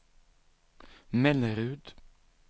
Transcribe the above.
Mellerud